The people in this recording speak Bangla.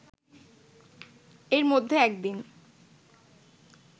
এর মধ্যে একদিন